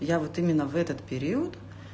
я вот именно в этот период